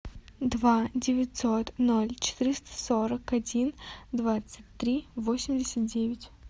два девятьсот ноль четыреста сорок один двадцать три восемьдесят девять